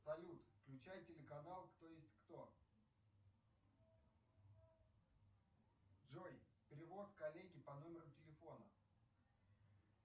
салют включай телеканал кто есть кто джой перевод коллеге по номеру телефона